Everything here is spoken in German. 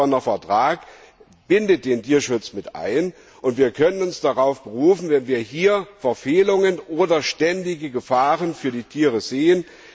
Der Vertrag von Lissabon bindet den Tierschutz mit ein, und wir können uns darauf berufen, wenn wir hier Verfehlungen oder ständige Gefahren für die Tiere sehen.